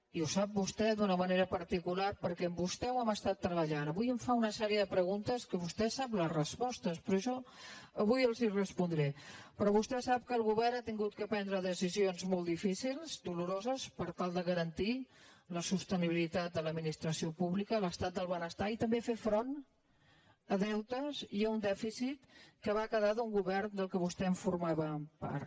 i ho sap vostè d’una manera particular perquè amb vostè ho hem estat treballant avui em fa una sèrie de preguntes que vostè sap les respostes però jo avui les hi respondré però vostè sap que el govern ha hagut de prendre decisions molt difícils doloroses per tal de garantir la sostenibilitat de l’administració pública l’estat del benestar i també fer front a deutes i a un dèficit que va quedar d’un govern del qual vostè formava part